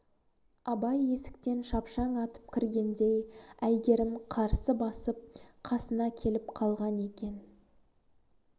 абай есіктен шапшаң атып кіргенде әйгерім қарсы басып қасына келіп қалған екен